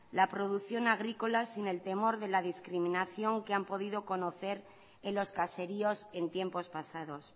la producción agrícola sin el temor de la discriminación que han podido conocer en los caseríos en tiempos pasados